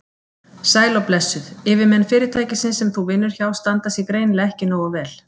Sæl og blessuð, yfirmenn fyrirtækisins sem þú vinnur hjá standa sig greinilega ekki nógu vel.